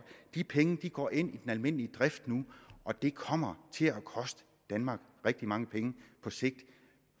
de penge går nu ind i den almindelige drift og det kommer til at koste danmark rigtig mange penge på sigt